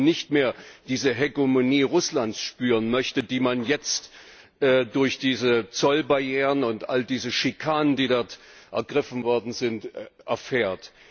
Weil man eben nicht mehr diese Hegemonie Russlands spüren möchte, die man jetzt durch diese Zollbarrieren und all diese Schikanen, die dort ergriffen worden sind, erfährt.